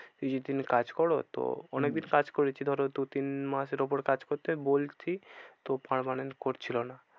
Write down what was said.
কিছু দিন কাজ করো তো অনেক দিন কাজ করেছি ধরো দু তিন মাসের ওপর কাজ করতে বলছি তো permanent করছিলো না।